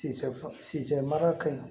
Se mara ka ɲi